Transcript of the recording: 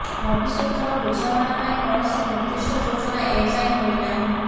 ଭବିଷ୍ୟତର ବୁଝାମଣା ପାଇଁ କୌଣସି ନିର୍ଦ୍ଦିଷ୍ଟ ଯୋଜନା ଏ ଯାଏଁ ହୋଇ ନାହିଁ